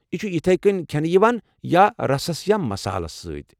یہِ چھِ یتھے کٔنۍ کھٮ۪نہٕ یِوان یا رسس تہٕ مسالس سۭتۍ۔